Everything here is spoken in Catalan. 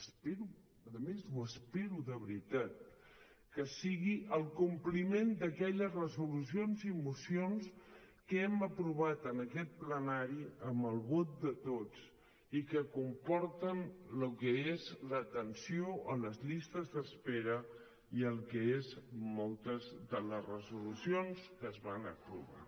espero a més ho espero de veritat que sigui el compliment d’aquelles resolucions i mocions que hem aprovat en aquest plenari amb el vot de tots i que comporten el que és l’atenció a les llistes d’espera i el que són moltes de les resolucions que es van aprovar